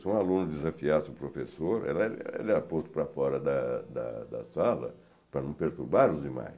Se um aluno desafiasse o professor, ele ele era posto para fora da da sala para não perturbar os demais.